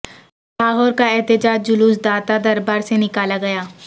لاہور کا احتجاج جلوس داتا دربا سے نکالا گیا